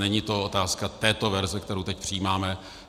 Není to otázka této verze, kterou teď přijímáme.